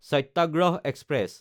সত্যাগ্ৰহ express